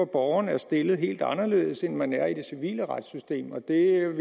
borgeren er stillet helt anderledes end man er i det civile retssystem og der